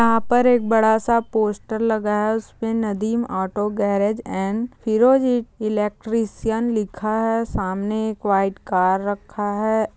यहाँ पर एक बड़ा सा पोस्टर लगा है उसपे Nadeem auto garage and Firozi electrician लिखा है सामने एक वाइट कार रखा है।